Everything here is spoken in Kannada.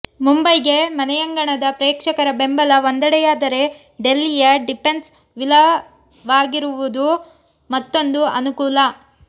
ಮುಂಬೈಗೆ ಮನೆಯಂಗಣದ ಪ್ರೇಕ್ಷಕರ ಬೆಂಬಲ ಒಂದೆಡೆಯಾದರೆ ಡೆಲ್ಲಿಯ ಡಿಫೆನ್ಸ್ ವಿಲವಾಗಿರವುದು ಮತ್ತೊಂದು ಅನುಕೂಲ